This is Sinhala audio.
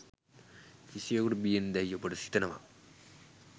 කිසිවකුට බියෙන් දැයි ඔබට සිතෙනවාද?